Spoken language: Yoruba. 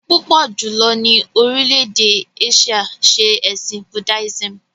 Púpọ̀ jùlọ ni orílè-èdè Áṣíà ṣe ẹ̀sìn Buddhism